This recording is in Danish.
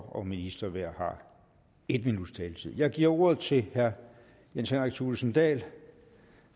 og minister hver har en minuts taletid jeg giver ordet til herre jens henrik thulesen dahl